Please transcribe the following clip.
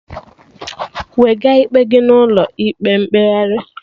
Wega ikpe gị n'ụlọ ịkpe mkpegharị